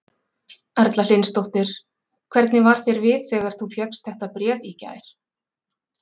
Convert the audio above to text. Erla Hlynsdóttir: Hvernig varð þér við þegar þú fékkst þetta bréf í gær?